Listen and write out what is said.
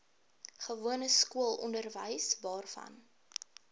gewone skoolonderwys waarvan